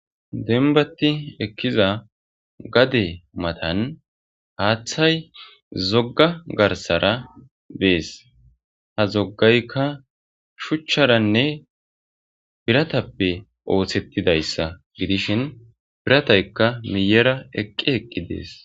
denbati ekkiza gade matan haaththay zogga garsara bees ha zoggaykka shuchcharanne biratappe ooththettidayssa gidishin pirataykka miyera eqqi eqqi dees